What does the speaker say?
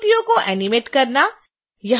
आकृतियों को एनीमेट करना